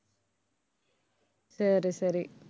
சரி, சரி.